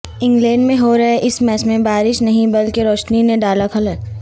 England میں ہورہے اس میچ میں بارش نہیں بلکہ روشنی نے ڈالا خلل